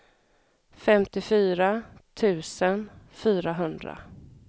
femtiofyra tusen fyrahundra